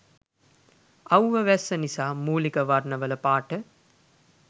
අව්ව වැස්ස නිසා මූලික වර්ණවල පාට